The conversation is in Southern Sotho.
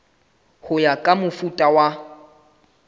ho ya ka mofuta wa